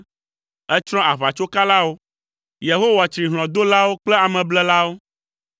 Ètsrɔ̃ aʋatsokalawo; Yehowa tsri hlɔ̃dolawo kple ameblelawo.